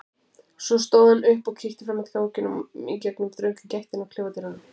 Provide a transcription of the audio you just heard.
Svo stóð hann upp og kíkti fram eftir ganginum í gegnum þrönga gættina á klefadyrunum.